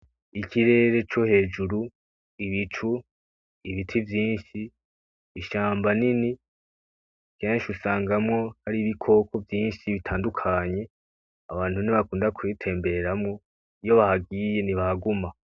Ikirere cohejuru, ibicu, ibiti vyinshi, ishamba nini, kenshi usangamwo hari ibikoko vyinshi bitandukanye, abantu nibo bakunda kubitembereramwo iyo bahagiye ntibahaguma.